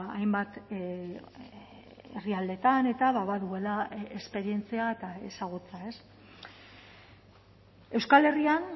hainbat herrialdetan eta baduela esperientzia eta ezagutza euskal herrian